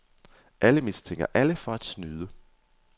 Alle mistænker alle for at snyde.